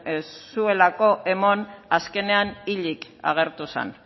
ez zuelako eman azkenean hilik agertu zen